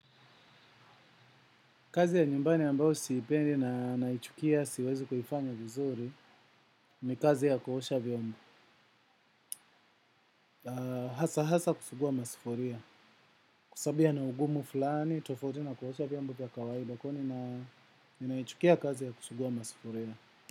Kazi ya nyumbani ambao siipendi na naichukia siwezi kuifanya vizuri ni kazi ya kuosha vyombo. Hasa kusugua masufuria. Kwa sababu yana ugumu fulani, tofauti na kuosha vyombo vya kawaida. Kwa hiyo nina ninaichukia kazi ya kusugua masufuria.